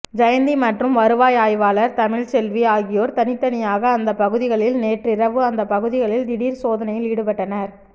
ஜெயந்தி மற்றும் வருவாய் ஆய்வாளர் தமிச்செல்வி ஆகியோர் தனித்தனியாக அந்த பகுதிகளில் நேற்றிரவு அந்த பகுதிகளில் திடீர் சோதனையில் ஈடுபட்டனர்